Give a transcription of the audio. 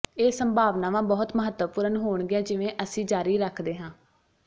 ਇਹ ਸੰਭਾਵਨਾਵਾਂ ਬਹੁਤ ਮਹੱਤਵਪੂਰਨ ਹੋਣਗੀਆਂ ਜਿਵੇਂ ਅਸੀਂ ਜਾਰੀ ਰੱਖਦੇ ਹਾਂ